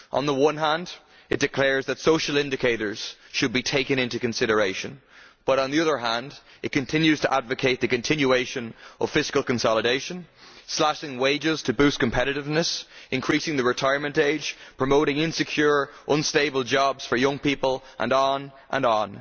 On the one hand, it declares that social indicators should be taken into consideration but, on the other hand, it continues to advocate the continuation of fiscal consolidation, slashing wages to boost competitiveness, increasing the retirement age, promoting insecure, unstable jobs for young people and so on.